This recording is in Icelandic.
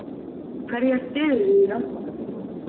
Hverja styðurðu í Landsbankadeildinni?